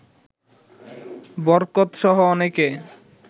বরকতসহ অনেকে